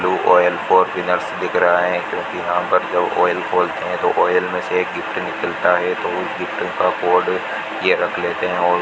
blue oil four wheelers दिख रहा है क्योंकि यहां पर जो ऑयल खोलते हैं तो ऑयल में से एक गिफ्ट निकलता है तो उस गिफ्ट का कोड यह रख लेते हैं और --